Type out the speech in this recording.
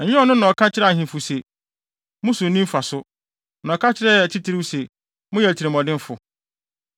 Ɛnyɛ Ɔno na ɔka kyerɛ ahemfo se, ‘Mo so nni mfaso,’ na ɔka kyerɛɛ atitiriw se, ‘Moyɛ atirimɔdenfo,’